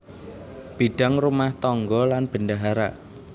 Bidang rumah tangga lan bendahara